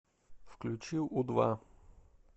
включи у два